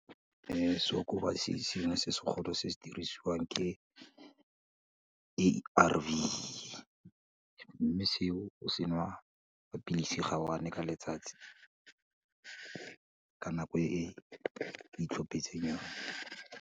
Seokobatsi sengwe se se golo, se se dirisiwang ke A_R_V, mme seo o se nwa ka pilisi ga one-e ka letsatsi ka nako e o i tlhopetseng yone.